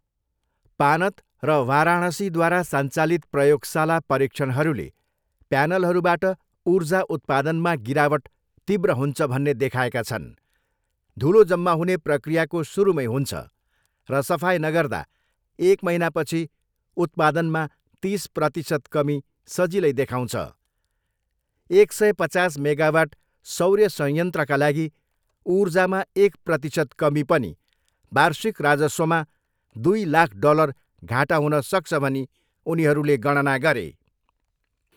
पानत र वाराणसीद्वारा सञ्चालित प्रयोगशाला परीक्षणहरूले प्यानलहरूबाट ऊर्जा उत्पादनमा गिरावट तीव्र हुन्छ भन्ने देखाएका छन्, धुलो जम्मा हुने प्रक्रियाको सुरुमै हुन्छ, र सफाइ नगर्दा एक महिनापछि उत्पादनमा तिस प्रतिसत कमी सजिलै देखाउँछ। एक सय पचास मेगावाट सौर्य संयन्त्रका लागि ऊर्जामा एक प्रतिशत कमी पनि, वार्षिक राजस्वमा दुई लाख डलर घाटा हुनसक्छ भनी उनीहरूले गणना गरे।